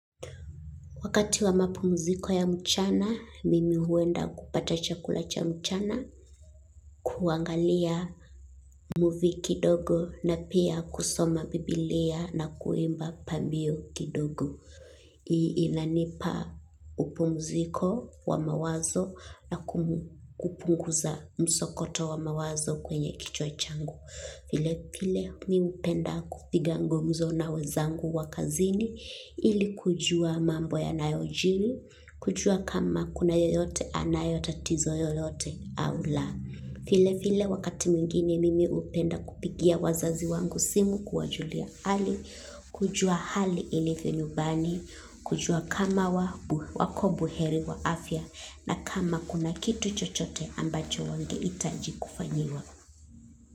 Wakati wa mapumziko ya mchana, mimi huenda kupata chakulacha mchana, kuangalia muvi kidogo na pia kusoma biblia na kuimba pambio kidogo. Iinanipa upumziko wa mawazo na kupunguza msokoto wa mawazo kwenye kichwa changu. Vile vile mi upenda kupiga ngumzono na wezangu wakazini ili kujua mambo ya nayojili, kujua kama kuna yoyote anayotatizo yoyote au la. Vile vile wakati mwingine mimi upenda kupigia wazazi wangu simu kuwa julia hali, kujua hali ilivyo nyumbani, kujua kama wabu wako buheri wa afya na kama kuna kitu chochote ambacho wangehitaji kufanyiwa.